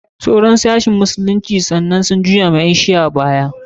Sauran sashin musulunci gaba ɗaya sun juya wa ƴan shi'a baya.